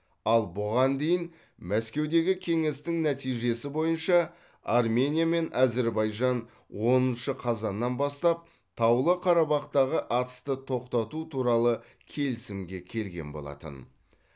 ал бұған дейін мәскеудегі кеңестің нәтижесі бойынша армения мен әзірбайжан оныншы қазаннан бастап таулы қарабақтағы атысты тоқтату туралы келісімге келген болатын